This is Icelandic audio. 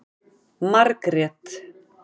Margrét